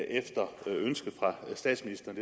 efter et ønske fra statsministeren